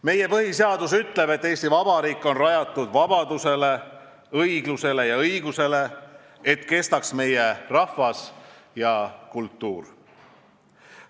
Meie põhiseadus ütleb, et Eesti Vabariik on rajatud vabadusele, õiglusele ja õigusele, et kestaks meie rahvas ja kultuur.